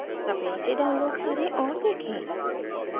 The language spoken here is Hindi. कृपया इसे download करें और देखें